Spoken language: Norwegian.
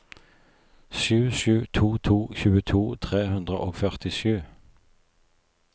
sju sju to to tjueto tre hundre og førtisju